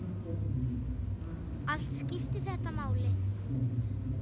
Allt skiptir þetta máli.